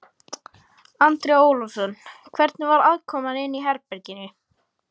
Andri Ólafsson: Hvernig var aðkoman inni í herberginu?